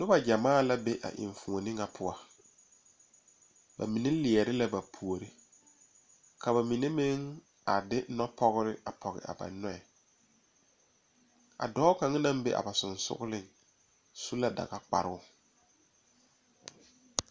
Noba gyamaa la be a enfuoni ŋa poɔ ba mine leɛ la ba puori ka ba mine mine a de nɔpɔgre a pɔge a ba nɔɛ a dɔɔ kaŋa naŋ be a ba sogaŋ su la dagakparoo